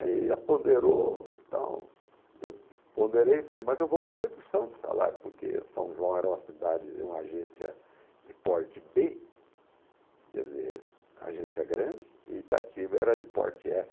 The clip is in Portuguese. Aí, apoderou e tal, eu ponderei e falei, mas eu vou com redução de salário, porque São João era uma cidade, uma agência de porte bê, quer dizer, agência grande, e Itatiba era de porte efe.